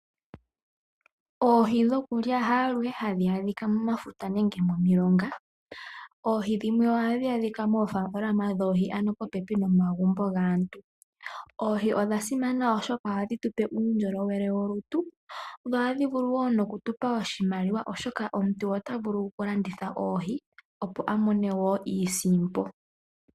Oohi dhokulya haaluhe hadhi adhika momafuta nenge momilonga. Oohi dhimwe ohadhi adhika moofalama, ano popepi nomagumbo gaantu. Oohi odha simana oshoka ohadhi gandja uundjolowele wolutu, dho ohadhi gandja wo oshimaliwa, oshoka omuntu ota vulu okulanditha oohi opo amone iisimpo.